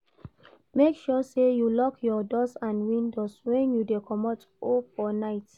Make sure say you lock your doors and windows when you de comot or for night